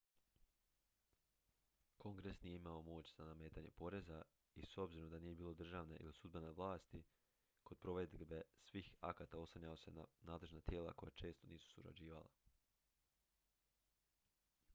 kongres nije imao moć za nametanje poreza i s obzirom da nije bilo državne ili sudbene vlasti kod provedbe svih akata oslanjao se na nadležna tijela koja često nisu surađivala